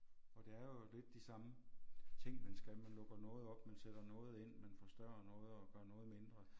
Og det er jo lidt de samme ting man skal man lukker noget op man sætter noget ind man forstørrer noget og gør noget mindre